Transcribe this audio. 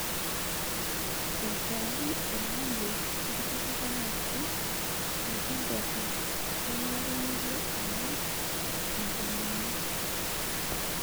Aitau olama lekitipikaki tenkjabe, kenare nilo ang'as enkomono.